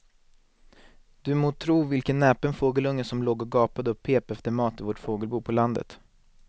Du må tro vilken näpen fågelunge som låg och gapade och pep efter mat i vårt fågelbo på landet.